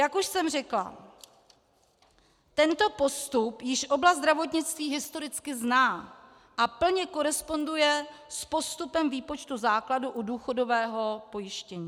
Jak už jsem řekla, tento postup již oblast zdravotnictví historicky zná a plně koresponduje s postupem výpočtu základu u důchodového pojištění.